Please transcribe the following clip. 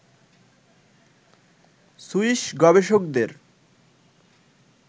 Swiss গবেষকদের